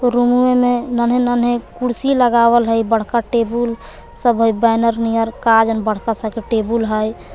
रूमवमे में नन्हे नन्हे कुर्सी लगावल है बड़का टेबुल सब है बैनर नियर का जन बड़का सा के टेबुल है।